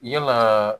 Yalaa